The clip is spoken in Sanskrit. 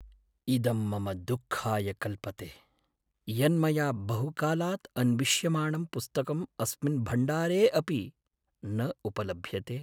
इदं मम दुःखाय कल्पते यन्मया बहुकालात् अन्विष्यमाणं पुस्तकम् अस्मिन् भण्डारे अपि न उपलभ्यते।